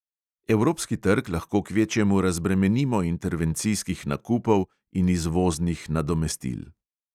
Evropski trg lahko kvečjemu razbremenimo intervencijskih nakupov in izvoznih nadomestil.